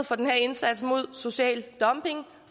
for den her indsats mod social dumping